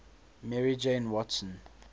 mary jane watson